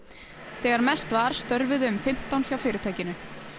þegar mest var störfuðu um fimmtán hjá fyrirtækinu